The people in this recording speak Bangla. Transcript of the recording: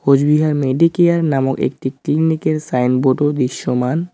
কোচবিহার মেডিকেয়ার নামক একটি ক্লিনিকের -এর সাইনবোর্ড -ও দৃশ্যমান।